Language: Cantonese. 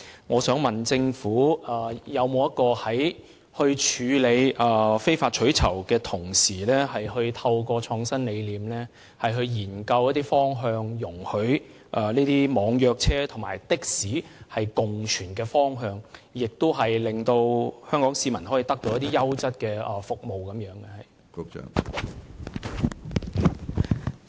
我想問政府，在處理非法取酬活動的同時，有否以創新理念作為研究方向，務求讓網約車和的士可以共存，亦令香港市民可以獲得優質的服務？